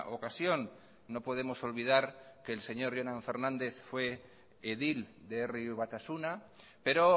ocasión no podemos olvidar que el señor jonan fernández fue edil de herri batasuna pero